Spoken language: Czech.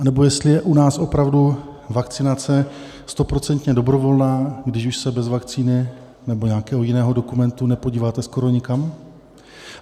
Nebo jestli je u nás opravdu vakcinace stoprocentně dobrovolná, když už se bez vakcíny nebo nějakého jiného dokumentu nepodíváte skoro nikam?